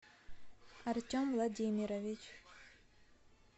артем владимирович